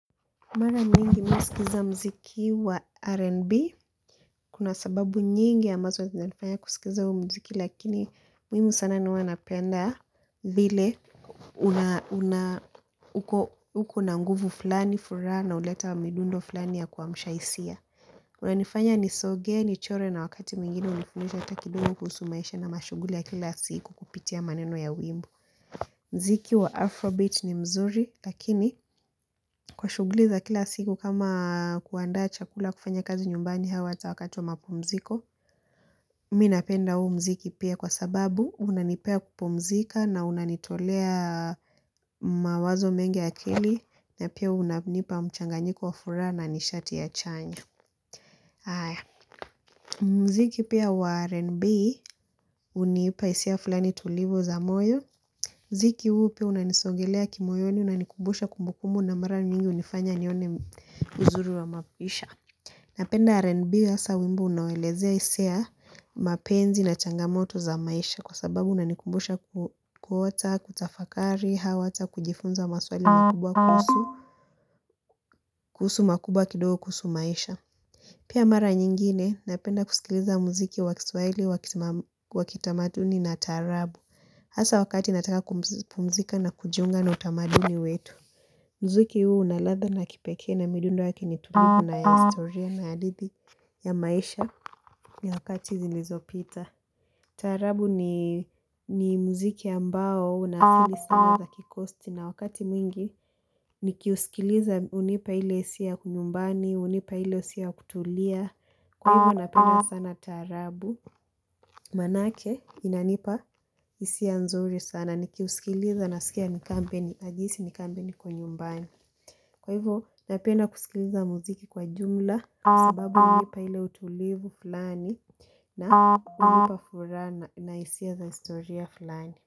Mara mingi minasikiza mziki wa R&B kuna sababu nyingi ambazo zinanifanya kusikiza wa mziki lakini mimi sana ni huwa napenda vile una uko na nguvu fulani furaha na uleta midundo fulani ya kuamsha hisia unanifanya nisogee nichore na wakati mwingine unifundisha hata kidogo kuhusu maisha na mashughuli ya kila siku kupitia maneno ya wimbo. Mziki wa Afrobit ni mzuri, lakini kwa shuguli za kila siku kama kuandaa chakula kufanya kazi nyumbani hawa ata wakati wa mapumziko. Minapenda huu mziki pia kwa sababu, unanipea kupomzika na unanitolea mawazo mengi ya akili, na pia unanipa mchanganyiko wa furaha na nishati ya chanya. Mziki pia wa R&B, unipa hisia fulani tulivu za moyo. Ziki huu pia unanisongelea kimoyoni unanikubusha kumbukumbu na mara nyingi unifanya nione uzuri wa mapisha. Napenda RNB asa wimbo unawelezea hisia mapenzi na changamoto za maisha kwa sababu unanikubusha kuota, kutafakari, au hawata, kujifunza maswali makubwa kuhusu, kuhusu makubwa kidogo kuhusu maisha. Pia mara nyingine, napenda kusikiliza muziki wakiswahili, wakitamaduni na taarabu. Hasa wakati nataka kupumzika na kujiunga na utamaduni wetu. Mziki huu unaladha na kipekee na midundo waki ni tulipu na historia na hadithi ya maisha nyakati zilizopita. Tarabu ni mziki ambao unaasili sana za kikosti na wakati mwingi ni kiusikiliza unipa hile hisiya ya kumyumbani, unipa hile hisia ya kutulia. Kwa hivo napenda sana taarabu. Manake inanipa hisia nzuri sana. Nikiusikiliza nasikia ni kambeni. Najihisi nikambile niko nyumbani. Kwa hivo napena kusikiliza muziki kwa jumla. Kwa sababu unipa hile utulivu fulani. Na unipa furana na hisia za historia fulani.